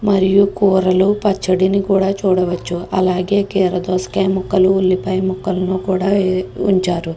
మరియు కూరలను పచ్చయాదీని కూడా చూడ వచ్చు. అలాగే అలాగే కీరదోసకాయ ముక్కలు ఉల్లిపాయ ముక్కలని కూడా చూడవచ్చు.